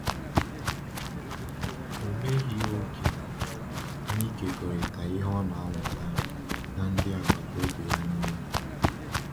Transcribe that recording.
Ọ meghị oge n’ịkekọrịta ihe ọ na-amụta na ndị agbata obi ya niile.